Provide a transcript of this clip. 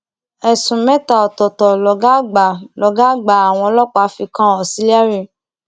ẹsùn mẹta ọtọọtọ lọgá àgbà lọgá àgbà àwọn ọlọpàá fi kan auxilliary